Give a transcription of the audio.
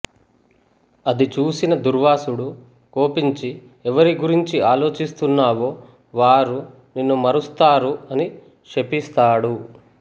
అది చూసిన దూర్వాసుడు కోపించి ఎవరి గురించి ఆలోచిస్తున్నావో వారు నిన్ను మరుస్తారు అని శపిస్తాడు